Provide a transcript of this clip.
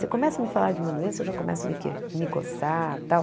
Você começa a me falar de uma doença, eu já começo a me que me coçar e tal.